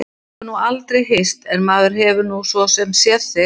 Við höfum nú aldrei hist en maður hefur nú svo sem séð þig.